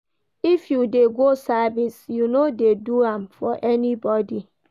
If you dey go service, you no dey do am for anybodi.